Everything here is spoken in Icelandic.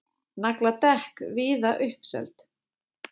Nagladekk víða uppseld